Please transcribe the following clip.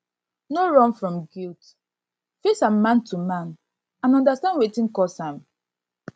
no run from guilt face am man to man and undastand undastand wetin cause am